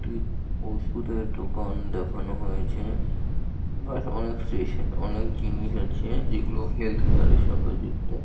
টি ওষুধের দোকান দেখানো হয়েছে ব্যাস অনেক স্টেস অনেক জিনিস আছে যেগুলো হেলথকেয়ার সঙ্গে যুক্ত।